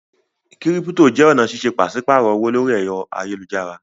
Kírípítò jẹ́ ọ̀nà ṣíṣe pàṣípààrọ̀ owó lórí ẹ̀rọ ayélujára.